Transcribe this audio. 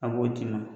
A b'o d'i ma